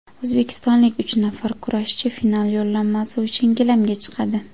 O‘zbekistonlik uch nafar kurashchi final yo‘llanmasi uchun gilamga chiqadi.